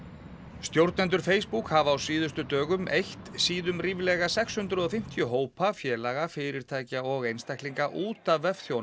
stjórnendur Facebook hafa á síðustu dögum eytt síðum ríflega sex hundruð og fimmtíu hópa félaga fyrirtækja og einstaklinga út af